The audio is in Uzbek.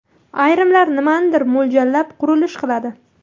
Ayrimlar nimanidir mo‘ljallab, qurilish qiladi.